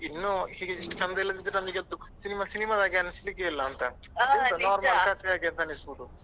ಇನ್ನು ಹೀಗೆ ಇಷ್ಟು ಚಂದ ಇಲ್ಲದಿದ್ರೆ ನಮಿಗೆ ಅದು cinema cinema ದ ಹಾಗೆ ಅನಿಸ್ಲಿಕ್ಕೆ ಇಲ್ಲ ಅಂತ. ಕತೆ ಆಗಿ ಅನಿಸ್ಬೋದು.